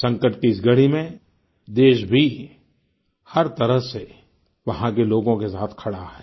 संकट की इस घड़ी में देश भी हर तरह से वहाँ के लोगों के साथ खड़ा है